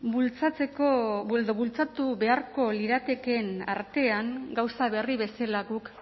bultzatu beharko liratekeen artean gauza berri bezala guk